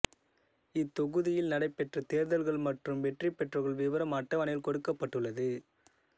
இத் தொகுதியில் நடைபெற்ற தேர்தல்கள் மற்றும் வெற்றி பெற்றவர்கள் விவரம் அட்டவணையில் கொடுக்கப்பட்டுள்ளது